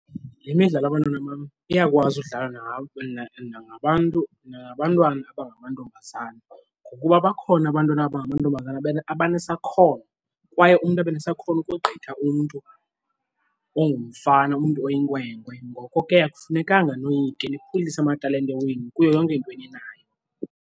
Le midlalo, bantwana bam, iyakwazi udlalwa nangabantu, nangabantwana abangamantombazana ngokuba bakhona abantwana abangamantombazana abanesakhono kwaye umntu abe nesakhono ukogqitha umntu ongumfana umntu oyinkwenkwe. Ngoko ke akufunekanga noyike nikhulise amatalente wenu kuyo yonke into eniyenzayo.